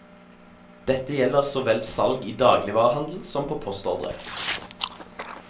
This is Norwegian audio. Dette gjelder så vel salg i dagligvarehandel som på postordre.